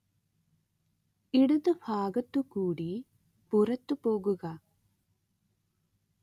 ഇടത് ഭാഗത്തുകൂടി പുറത്തുപോകുക